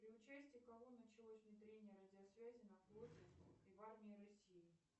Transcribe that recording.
при участии кого началось внедрение радиосвязи на флоте и в армии россии